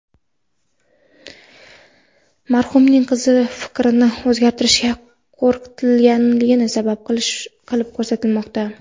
Marhumning qizi fikrini o‘zgartirishiga qo‘rqitilganini sabab qilib ko‘rsatmoqda.